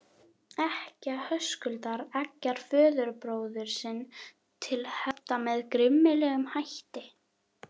Ekkja Höskuldar eggjar föðurbróður sinn til hefnda með grimmilegum hætti.